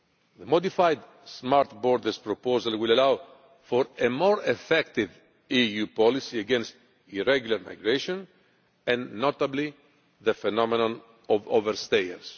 The modified smart borders proposal will allow for a more effective EU policy against irregular migration and notably the phenomenon of over stayers.